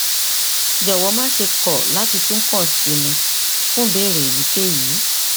jọwọ máṣe kọ láti tún kàn sí mi fún ìbéèrè èyíkéyìí